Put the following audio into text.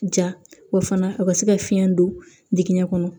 Ja wa fana a ka se ka fiɲɛ don digɛn kɔnɔ